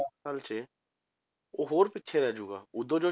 ਦਸ ਸਾਲ 'ਚ ਉਹ ਹੋਰ ਪਿੱਛੇ ਰਹਿ ਜਾਊਗਾ, ਉਦੋਂ